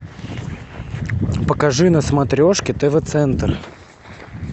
покажи на смотрешке тв центр